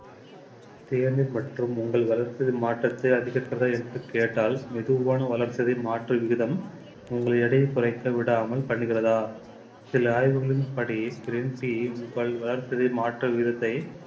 தேநீர் மற்றும் உங்கள் வளர்ச்சிதை மாற்றத்தை அதிகரிப்பதா என்று கேட்டால் மெதுவான வளர்ச்சிதை மாற்று விகிதம் உங்கள் எடையை குறைக்க விடாமல் பண்ணுகிறதா சில ஆய்வுகளின்படி green tea உங்கள் வளர்ச்சிதை மாற்று விதத்தை